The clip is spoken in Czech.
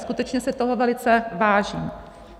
Skutečně si toho velice vážím.